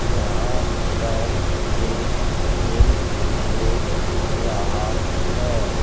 यहां पर एक जिम दिख रहा है।